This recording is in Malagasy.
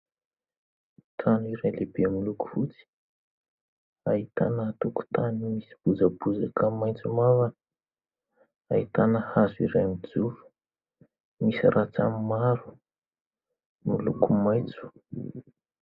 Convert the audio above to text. Trano iray lehibe miloko fotsy. Ahitana tokotany misy bozabozaka maitso mavana. Ahitana hazo iray mijoro misy rantsany maro miloko maitso.